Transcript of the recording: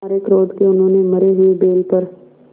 मारे क्रोध के उन्होंने मरे हुए बैल पर